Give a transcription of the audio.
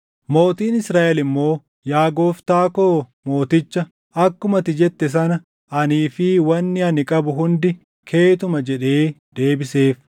Mootiin Israaʼel immoo, “Yaa gooftaa koo mooticha, akkuma ati jette sana anii fi wanni ani qabu hundi keetuma” jedhee deebiseef.